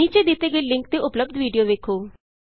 ਨੀਚੇ ਦਿਤੇ ਗਏ ਲਿੰਕ ਤੇ ਉਪਲੱਭਦ ਵੀਡੀਉ ਵੇਖੋ